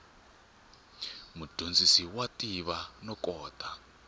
mudyondzi wa tiva no kota